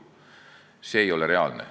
See ei ole reaalne.